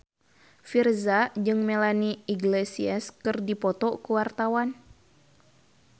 Virzha jeung Melanie Iglesias keur dipoto ku wartawan